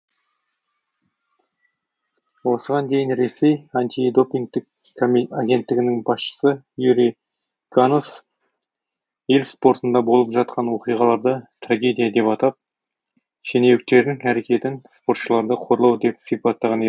осыған дейін ресей анти допингтік агенттігінің басшысы юрий ганус ел спортында болып жатқан оқиғаларды трагедия деп атап шенеуніктердің әрекетін спортшыларды қорлау деп сипаттаған